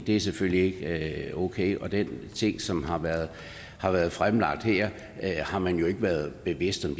det er selvfølgelig ikke okay den ting som har været har været fremlagt her har man jo ikke være bevidst om